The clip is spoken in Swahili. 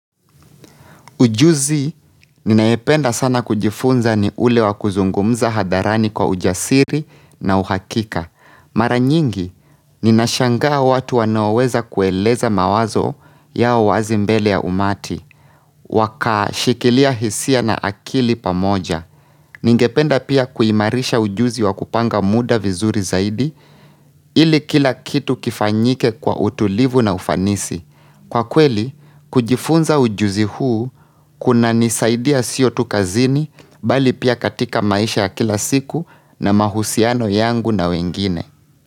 Ujuzi, ninayopenda sana kujifunza ni ule wa kuzungumza hadharani kwa ujasiri na uhakika. Mara nyingi, ninashangaa watu wanaoweza kueleza mawazo ya wazi mbele ya umati. Wakashikilia hisia na akili pamoja. Ningependa pia kuimarisha ujuzi wa kupanga muda vizuri zaidi ili kila kitu kifanyike kwa utulivu na ufanisi. Kwa kweli, kujifunza ujuzi huu kunanisaidia sio tu kazini bali pia katika maisha ya kila siku na mahusiano yangu na wengine.